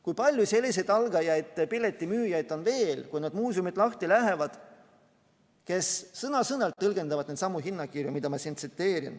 Kui palju selliseid algajaid piletimüüjaid on veel, kui need muuseumid lahti lähevad, kes sõna-sõnalt tõlgendavad neidsamu hinnakirju, mida ma tsiteerin?